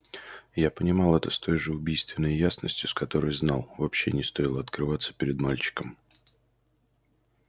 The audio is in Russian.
я понимал это с той же убийственной ясностью с которой знал вообще не стоило открываться перед мальчиком